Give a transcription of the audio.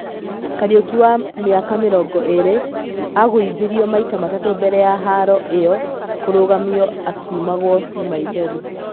Kariuki, wa mĩaka mĩrongo ĩrĩ, agũithirio maita matatũ mbere ya haro ĩyo kũrũgamio akiumagwo nĩ maithori.